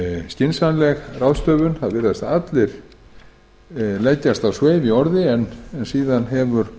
skynsamleg ráðstöfun það virðast allir leggjast á sveif í orði en skort hefur